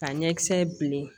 Ka ɲɛkisɛ bilen